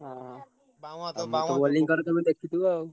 ହଁ ମୁଁ ତ bowling କରେ ତମେ ଦେଖିଥିବ ଆଉ।